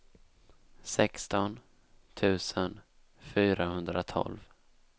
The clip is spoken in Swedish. sexton tusen fyrahundratolv